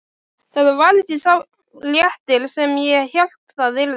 Þetta varð ekki sá léttir sem ég hélt það yrði.